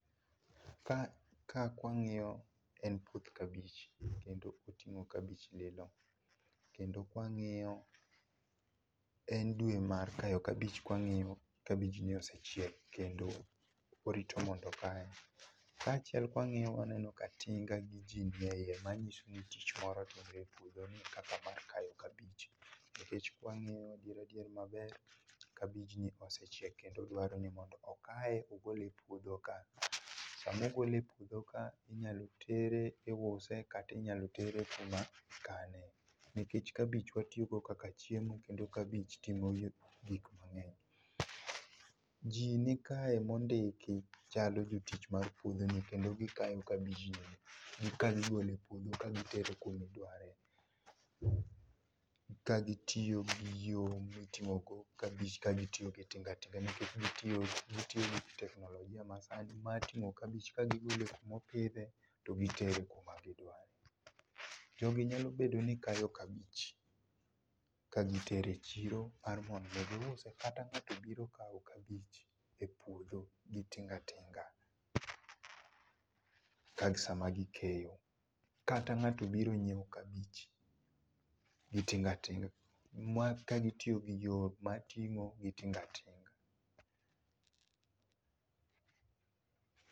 ka kwa ng'iyo en puoth kabich kendo oting'o kabich lilio kendo kwangiyo, en dwe mar kayo kabich kwang'iyo kabijni osechiek kendo orito mondo okaye. Kaachiel kwang'iyo ni tinga gi jii nie iye manyiso ni tich moro timre e puodho ni kaka mar kayo kabich nikech kwang'iyo adier adier maber kabijni osechiek kendo dwaro ni mondo okaye ogole puodho kaa. Sama ogole e puodho ka inyalo tere iuse kata itere kama ikane nikech kabich watiyo go kaka chiemo kendo kabich timo gik mang'eny. Jii nikae mondiki chalo jotich mag puodhoni kendo gikayo kabijni kagigole puodho kagitero kumidware ka gitiyo giyo miting'o kabich ka gitiyo gi tingatinga nikech gitiyo gi gitiyo gi teknolojia ma sani mar ting'o kabich kagigole kumo pidhe to gitere kumagidware. Jogi nyalo bedo ni kayo kabich kagitero e chiro mar mondo giuse kata ng'ato obiro kawo kabich e puodho gi tingatinga sama gikeyo kata ng'ato obiro nyiewo kabich gi tingatinga ma kagitiyo gi yo mar ting'o gi tingatinga.